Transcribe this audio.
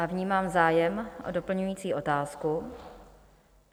A vnímám zájem o doplňující otázku.